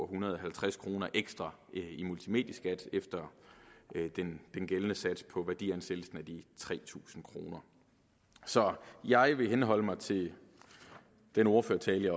hundrede og halvtreds kroner ekstra i multimedieskat efter den gældende sats på værdiansættelsen af de tre tusind kroner så jeg vil henholde mig til den ordførertale